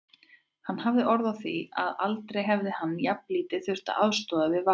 Hann hafði orð á því að aldrei hefði hann jafnlítið þurft að aðstoða við valið.